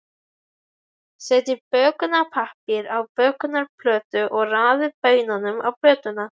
Setjið bökunarpappír á bökunarplötu og raðið brauðunum á plötuna.